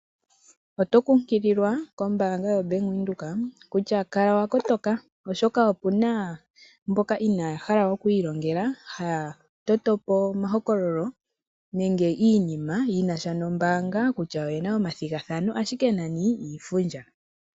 Oto kunkililwa kombaanga yaVenduka kutya kala wa kotoka oshoka opuna mboka inaya hala oku ilongela haya totopo omahokololo nenge iinima yinasha nombaanga kutya oyena iinima tayi sindanwa ashike nani iifundja